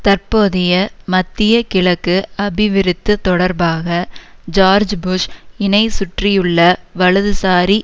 தற்போதைய மத்திய கிழக்கு அபிவிருத்து தொடர்பாக ஜோர்ஜ் புஷ் இனை சுற்றியுள்ள வலதுசாரி